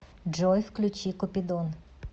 джой включи купидон